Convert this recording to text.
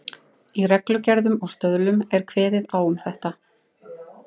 Í reglugerðum og stöðlum er kveðið á um þetta.